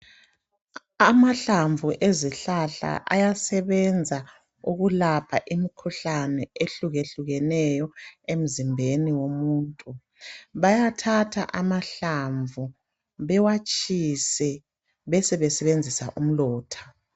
Amahlamvu ezihlahla ayasebenza ukulapha imikhuhlane eyehlukeneyo emzimbeni womuntu. Bayathatha amahlamvu bewatshise besebesebenzisa umlotha